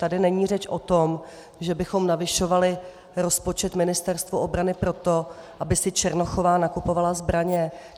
Tady není řeč o tom, že bychom navyšovali rozpočet Ministerstvu obrany proto, aby si Černochová nakupovala zbraně.